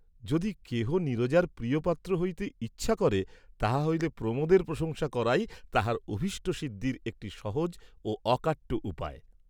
যদি কেহ নীরজার প্রিয়পাত্র হইতে ইচ্ছা করে তাহা হইলে প্রমোদের প্রশংসা করাই তাহার অভীষ্ট সিদ্ধির একটি সহজ ও অকাট্য উপায়।